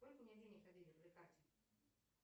сколько у меня денег на дебетовой карте